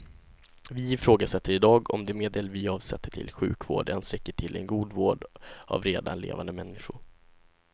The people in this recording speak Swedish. Vi ifrågasätter i dag om de medel vi avsätter till sjukvård ens räcker till en god vård av redan levande människor.